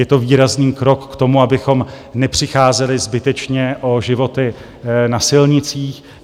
Je to výrazný krok k tomu, abychom nepřicházeli zbytečně o životy na silnicích.